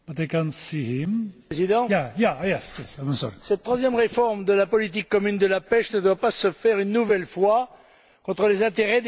Monsieur le Président, cette troisième réforme de la politique commune de la pêche ne doit pas se faire, une nouvelle fois, contre les intérêts des pêcheurs.